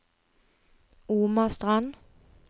Omastrand